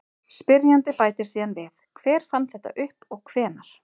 Spyrjandi bætir síðan við: Hver fann þetta upp og hvenær?